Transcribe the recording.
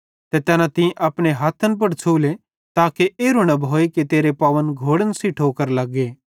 ते तैना तीं अपने हथ्थन पुड़ छ़ूले ताके एरू न भोए कि तेरे पावन घोड़न सेइं ठोकर लग्गे